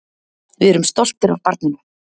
Við erum stoltir af barninu.